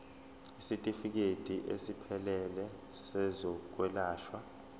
isitifikedi esiphelele sezokwelashwa